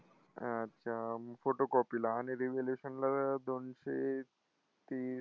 अच्छा. photocopy ला आणि revaluation ला दोनशे तीस